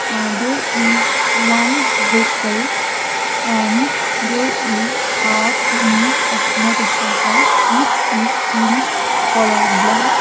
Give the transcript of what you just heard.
uh there is one vehicle and there is half image of motorcycle which is in colour black.